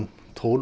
tólf